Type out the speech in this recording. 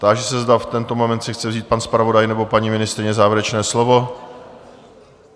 Táži se, zda v tento moment si chce vzít pan zpravodaj nebo paní ministryně závěrečné slovo?